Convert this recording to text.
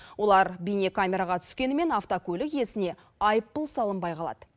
олар бейнекамераға түскенімен автокөлік иесіне айыппұл салынбай қалады